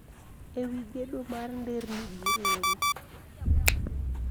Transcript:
E wi gedo mar nderni gi reru